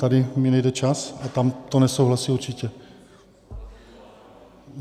Tady mi nejde čas a tam to nesouhlasí určitě.